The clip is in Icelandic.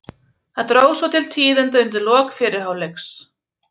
Það dró svo til tíðinda undir lok fyrri hálfleiks.